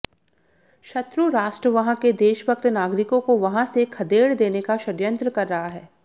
शत्रुराष्ट्र वहां के देशभक्त नागरिकों को वहां से खदेड देने का षडयंत्र कर रहा है